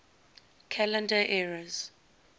calendar eras